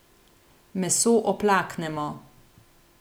Meso oplaknemo.